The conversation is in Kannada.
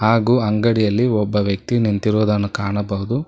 ಹಾಗು ಅಂಗಡಿಯಲ್ಲಿ ಒಬ್ಬ ವ್ಯಕ್ತಿ ನಿಂತಿರುವುದನ್ನು ಕಾಣಬಹುದು.